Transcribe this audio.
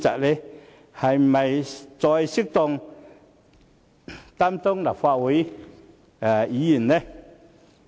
是否再適合擔任立法會議員？